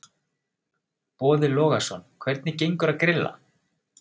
Boði Logason: Hvernig gengur að grilla?